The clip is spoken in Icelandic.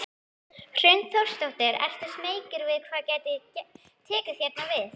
Hrund Þórsdóttir: Ertu smeykur við hvað gæti tekið hérna við?